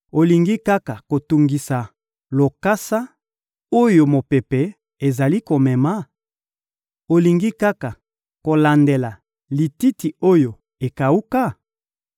Olingi kaka kotungisa lokasa oyo mopepe ezali komema? Olingi kaka kolandela lititi oyo ekawuka?